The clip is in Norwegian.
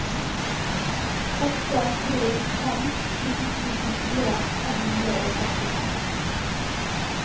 åtte tre fem sju nittifire fem hundre og femtifem